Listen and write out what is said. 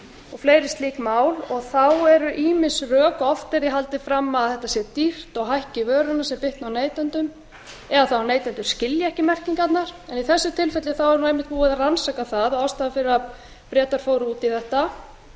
og fleiri slík mál þá eru ýmis rök oft verið haldið fram að þetta sé dýrt og hækki vöruna sem bitni á neytendum eða þá að neytendur skilji ekki merkingarnar í þessu tilfelli eru menn búnir að rannsaka það að ástæðan fyrir að bretar fóru út í þetta það